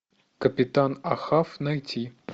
капитан ахав найти